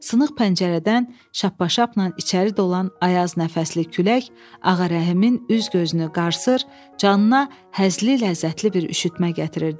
Sınıq pəncərədən şappa-şappnan içəri dolan ayaz nəfəsli külək Ağarəhimin üz-gözünü qarsır, canına həzli, ləzzətli bir üşütmə gətirirdi.